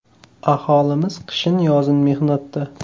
Aholimiz qishin-yozin mehnatda.